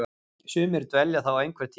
Sumir dvelja þá einhvern tíma.